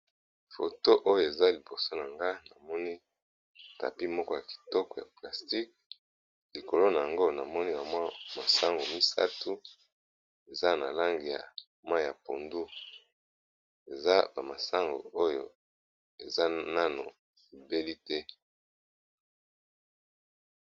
Foto oyo eza liboso na nga namoni tapi moko ya kitoko ya plastique, likolo na yango namoni ba mwa masangu misato eza na langi ya mwa ya pondu eza ba masangu oyo eza nano ebeli te.